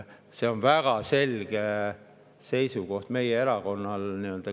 See on väga selge seisukoht meie erakonnal.